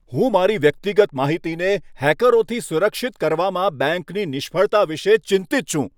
હું મારી વ્યક્તિગત માહિતીને હેકરોથી સુરક્ષિત કરવામાં બેંકની નિષ્ફળતા વિશે ચિંતિત છું.